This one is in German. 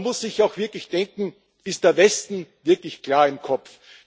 Man muss sich auch wirklich fragen Ist der Westen wirklich klar im Kopf?